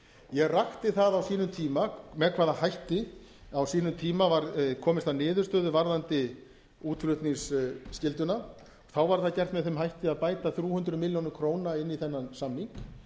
ég rakti það á sínum tíma með hvaða hætti á sínum tíma var komist að niðurstöðu varðandi útflutningsskylduna þá var það gert með þeim hætti að bæta þrjú hundruð milljóna króna inn í þennan samning